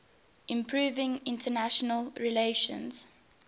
improving international relations